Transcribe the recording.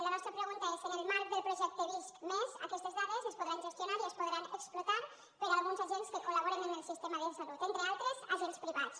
la nostra pregunta és en el marc del projecte visc+ aquestes dades es podran gestionar i es podran explotar per alguns agents que coltre altres agents privats